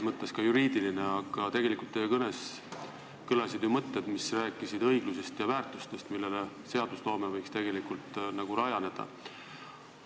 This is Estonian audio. Teie kõnes kõlasid ju mõtted õiglusest ja väärtustest, millel seadusloome võiks rajaneda.